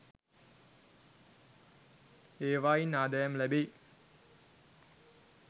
ඒවායින් ආදායම් ලැබෙයි.